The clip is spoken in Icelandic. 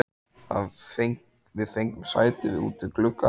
Við fengum sæti út við glugga.